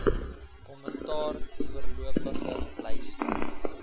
kommentaar voorlopige lyste